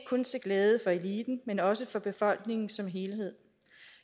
kun til glæde for eliten men også for befolkningen som helhed